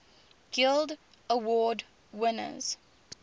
guild award winners